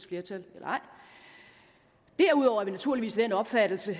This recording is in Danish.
flertal eller ej derudover er vi naturligvis af den opfattelse